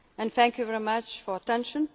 together from today. Thank you very much